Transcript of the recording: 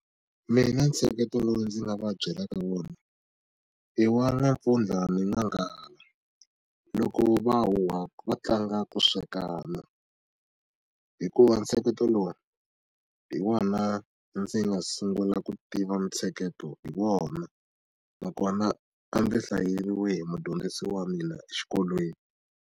Mina ntsheketo lowu ndzi nga va byelaka wona i wa N'wampfundla na N'wanghala loko va huhwa va tlanga ku swekana hikuva ntsheketo lowu hi wona ndzi nga sungula ku tiva ntsheketo hi wona na kona a ndzi hlayeriwe hi mudyondzisi wa mina exikolweni.